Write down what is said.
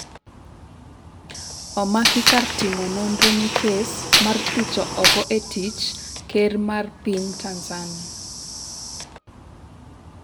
Omaki kar timo nonro ne kes mar thicho oko e tich ker mar pinny Tanzania